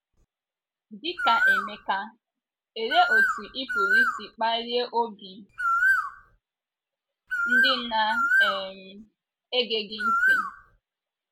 Dị ka Emeka, olee otú ị pụrụ isi kpalie obi ndị na - um ege gị ntị?